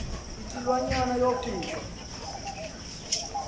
isi lwanyana wofika